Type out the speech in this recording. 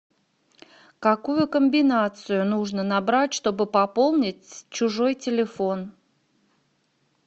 какую комбинацию нужно набрать чтобы пополнить чужой телефон